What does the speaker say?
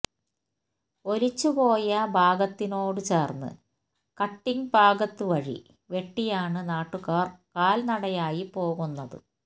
ഒലിച്ചുപോയ ഭാഗത്തിനോട് ചേർന്ന് കട്ടിങ് ഭാഗത്ത് വഴി വെട്ടിയാണ് നാട്ടുകാർ കാൽനടയായി പോകുന്നത്